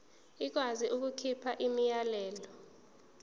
ikwazi ukukhipha umyalelo